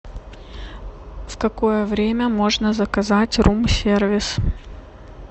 в какое время можно заказать рум сервис